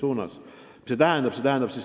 Mida see tähendab?